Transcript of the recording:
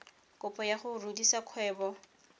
kopo ya go rudisa kgwebo